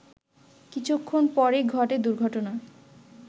কিছুক্ষণ পরই ঘটে দুর্ঘটনা